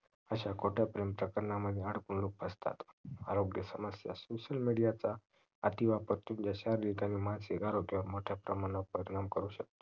अश्या खोट्या प्रेम चक्करमध्ये अडकून लोक फसतात आरोग्य समस्या social media चा अतिवापर शरीरावर आणि मानसिक आरोग्यावर मोठ्या प्रमानावर परिणाम करू शकतात